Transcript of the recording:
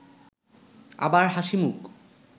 আবার হাসিমুখ